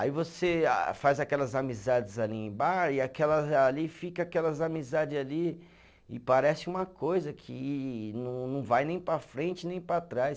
Aí você a, faz aquelas amizades ali em bar e aquelas ali, fica aquelas amizades ali e parece uma coisa que não não vai nem para frente, nem para trás.